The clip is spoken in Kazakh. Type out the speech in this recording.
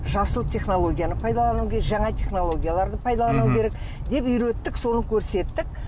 жасыл технологияны пайдалану керек жаңа технологияларды пайдалану керек деп үйреттік соны көрсеттік